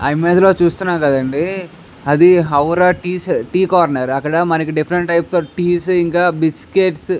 ఆ ఇమేజ్ లో చుస్తునాం కదండీ అది ఔరా టీ కార్నెర్ అక్కడ different types of teas biscuits .